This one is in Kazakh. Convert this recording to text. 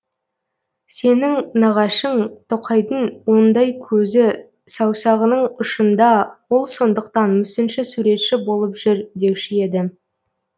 сенің нағашың тоқайдың ондай көзі саусағының ұшында ол сондықтан мүсінші суретші болып жүр деуші еді